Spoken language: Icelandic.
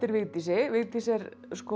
Vigdísi Vigdís er